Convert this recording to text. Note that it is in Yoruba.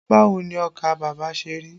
Báwo ni ọkà bàbà ṣe rí?